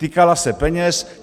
Týkala se peněz.